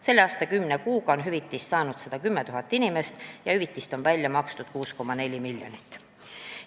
Selle aasta kümne kuuga on hüvitist saanud 110 000 inimest ja hüvitist on välja makstud 6,4 miljonit.